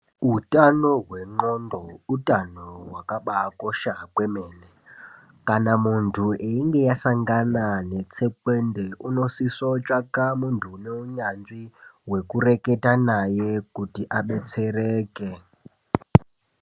Hutano hwengonxo utano hwakaba kosha kwemene kana muntu einge asangana netsekwende unosisa kutsvaka muntu une unyanzvi wekureketa naye kuti adetsereke.